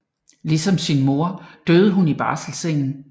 Ligesom sin mor døde hun i barselseng